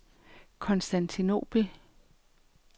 Konstantinobel